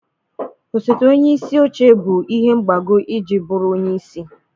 Osote onye isi oche bụ ihe mgbago iji bụrụ onye isi.